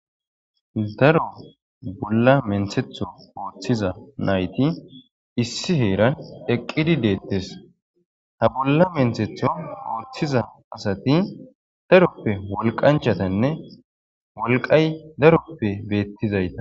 Daro bolla menthetho ooththiza nayti issi heeran eqqidi deettes ha bolla menthetho ooththiza asati daroppe wolqanchatanne wolqay daroppe beettizayta